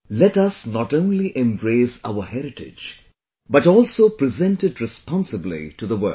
Let us not only embrace our heritage, but also present it responsibly to the world